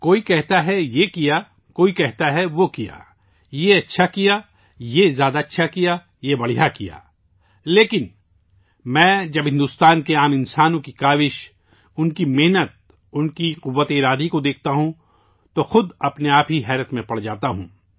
کوئی کہتا ہے یہ کیا، کوئی کہتا ہے وہ کیا، یہ اچھا کیا ، یہ زیادہ اچھا کیا ، یہ بہترین کیا، لیکن، میں جب میں بھارت کے عام آدمی کی کوششوں، محنت اور ان کی قوت ارادی کو دیکھتا ہوں، تو میں خود بھی مسحور ہو جاتا ہوں